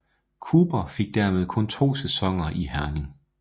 Cooper fik dermed kun to sæsoner i Herning